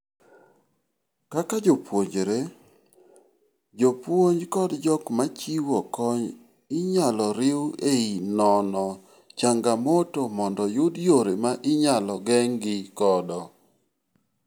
Kaka jopuonjre, jopuonj kod jok machiwo kony inyalo riu ei nono changamoto mondo yud yore ma inyalo geng' gi godod